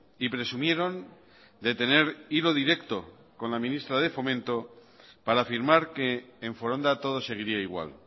y presumieron de tener hilo directo con la ministra de fomento para afirmar que en foronda todo seguiría igual